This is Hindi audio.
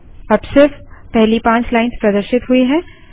अब सिर्फ पहली पाँच लाइन्स प्रदर्शित हुई हैं